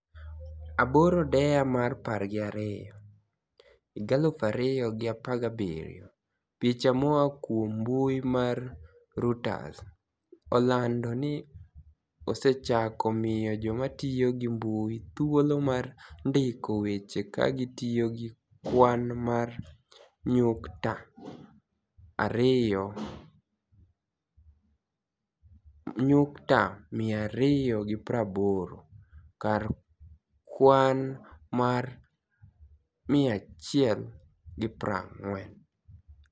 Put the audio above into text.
8 dea mar par gi ariyo 2017 Picha moa kuom mbui mar Reuters olanido nii osechako miyo joma tiyo gi mbui thuolo mar nidiko weche ka gitiyo gi kwani mar niyukta 280 kar kwani mar 140.